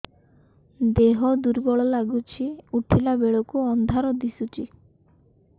ଦେହ ଦୁର୍ବଳ ଲାଗୁଛି ଉଠିଲା ବେଳକୁ ଅନ୍ଧାର ଦିଶୁଚି